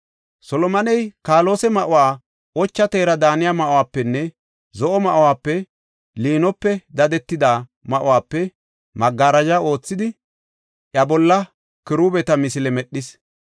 Solomoney kaalose ma7uwa, ocha teera daaniya ma7uwapenne, zo7o ma7uwape liinope dadetida ma7uwape magarajo oothidi, iya bolla kiruubeta misile medhis.